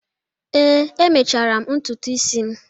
Ee, emechara m ntutu isi m